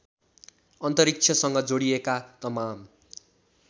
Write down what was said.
अन्तरिक्षसँग जोडिएका तमाम